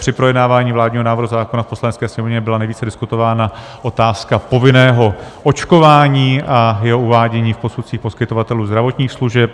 Při projednávání vládního návrhu zákona v Poslanecké sněmovně byla nejvíc diskutována otázka povinného očkování a jeho uvádění v posudcích poskytovatelů zdravotních služeb.